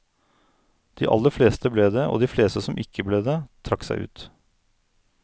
De aller fleste ble det, og de fleste som ikke ble det, trakk seg ut.